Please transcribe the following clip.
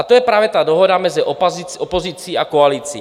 A to je právě ta dohoda mezi opozicí a koalicí.